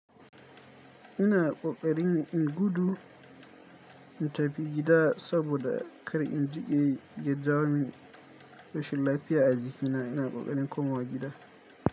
Ina ƙoƙarin in gudu in tafi gida saboda kar in jiƙe ya jawo min rashin lafiya a zikina. Ina ƙoƙarin komawa gida.